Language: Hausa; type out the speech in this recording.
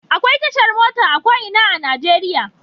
Akwai tashar mota a ko ina a Najeriya.